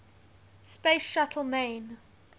space shuttle main